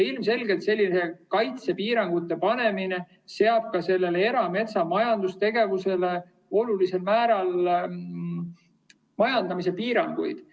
Ilmselgelt selline kaitsepiirangute panemine seab ka erametsas majandustegevusele olulisel määral majandamispiiranguid.